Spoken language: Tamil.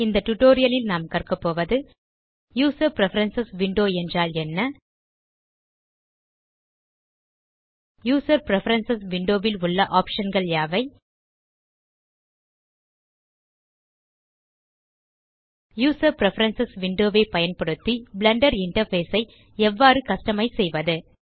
இந்த டியூட்டோரியல் ல் நாம் கற்கபோவது யூசர் பிரெஃபரன்ஸ் விண்டோ என்றால் என்ன யூசர் பிரெஃபரன்ஸ் விண்டோ ல் உள்ள ஆப்ஷன் கள் யாவை யூசர் பிரெஃபரன்ஸ் விண்டோ ஐ பயன்டுத்தி பிளெண்டர் இன்டர்ஃபேஸ் ஐ எவ்வாறு கஸ்டமைஸ் செய்வது